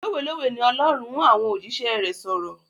Lówé lówé ni Olórun ń àwọn òjíṣẹ́ rẹ̀ sọ̀rọ̀.